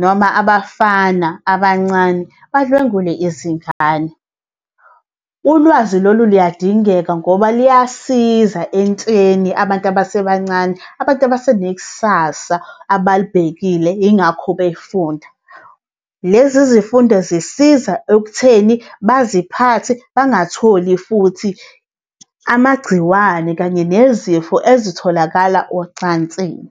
noma abafana abancane badlwengule izingane. Ulwazi lolu luyadingeka ngoba luyasiza entsheni abantu abasebancane, abantu abasenekusasa abalibhekile yingakho befunda. Lezi zifundo zisiza ekutheni baziphathe, bangatholi futhi amagciwane kanye nezifo ezitholakala ocansini.